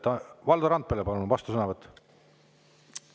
Valdo Randpere, palun, vastusõnavõtt!